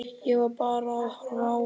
Ég var bara að horfa á hana.